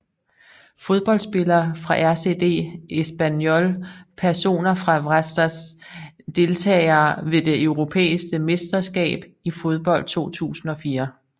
Fodboldspillere fra RCD Espanyol Personer fra Vratsa Deltagere ved det europæiske mesterskab i fodbold 2004